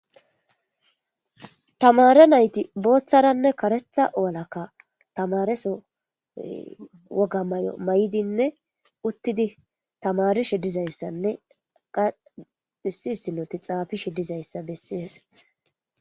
tamare nayti booththaranne karetha walakka tamareso woga may7o may7idinne uttidi tamarishe dizayssanne qadhisisinoti xaafishe dizayssa bessees